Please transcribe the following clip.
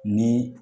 Ni